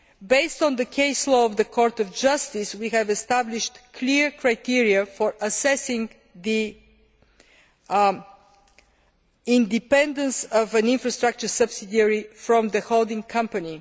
Based on the case law of the Court of Justice, we have established clear criteria for assessing the independence of an infrastructure subsidiary from the holding company.